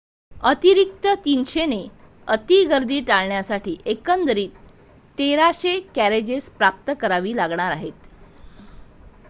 अतिरिक्त 300 ने अति गर्दी टाळण्यासाठी एकंदर 1,300 कॅरेजेस प्राप्त करावी लागणार आहेत